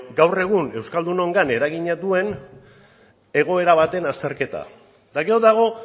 gaur egun euskaldunon gain eragina duen egoera baten azterketa eta gero dago